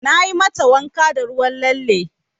Nayi mata wanka da ruwan lalle.